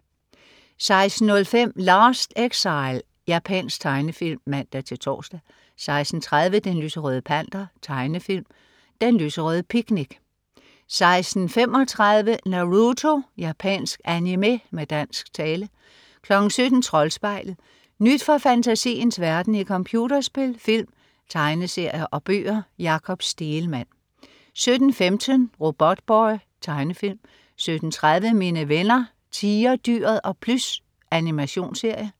16.05 Last Exile. Japansk tegnefilm (man-tors) 16.30 Den lyserøde Panter. Tegnefilm. Den lyserøde picnic 16.35 Naruto. Japansk animé med dansk tale 17.00 Troldspejlet. Nyt fra fantasiens verden i computerspil, film, tegneserier og bøger. Jakob Stegelmann 17.15 Robotboy. Tegnefilm 17.30 Mine venner Tigerdyret og Plys. Animationsserie